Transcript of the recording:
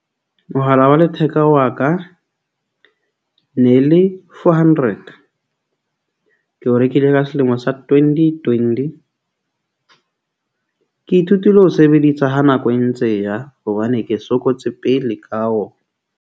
Mohala wa letheka wa ka ne le four hundred. Ke o rekile ka selemo sa twenty twenty. Ke ithutile ho sebedisa ha nako e ntse e ya hobane ke sokotse pele ka wona.